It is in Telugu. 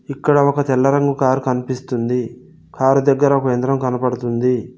ఇక్కడ ఒక తెల్ల రంగు కారు కనిపిస్తుంది. కారు దగ్గర ఒక యంత్రం కనపడుతుంది.